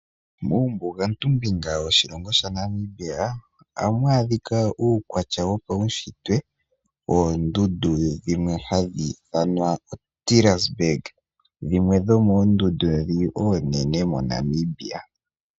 Muumbugantumbinga woshilongo shaNamibia, ohamu adhika uukwatya wopaunshitwe woondundu dhimwe hadhi ithanwa o Terraceberg, dhimwe dhomoondundu ndhi oonene MoNamibia.